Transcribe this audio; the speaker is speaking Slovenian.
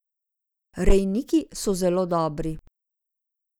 Rejniki so zelo dobri.